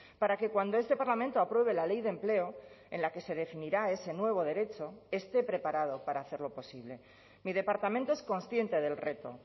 para que cuando este parlamento apruebe la ley de empleo en la que se definirá ese nuevo derecho esté preparado para hacerlo posible mi departamento es consciente del reto